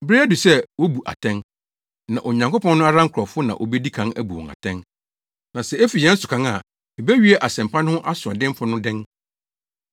Bere adu sɛ wobu atɛn, na Onyankopɔn no ara nkurɔfo na wobedi kan abu wɔn atɛn. Na sɛ efi yɛn so kan a, ebewie Asɛmpa no ho asoɔdenfo no dɛn?